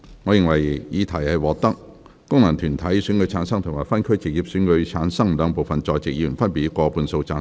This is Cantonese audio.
我認為議題獲得經由功能團體選舉產生及分區直接選舉產生的兩部分在席議員，分別以過半數贊成。